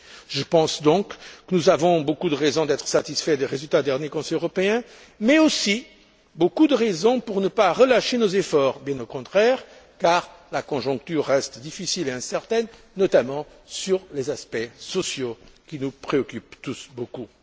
Je pense donc que nous avons beaucoup de raisons d'être satisfaits des résultats du dernier Conseil européen, mais aussi beaucoup de raisons pour ne pas relâcher nos efforts, bien au contraire, car la conjoncture reste difficile et incertaine, notamment sur les aspects sociaux qui nous préoccupent tous beaucoup.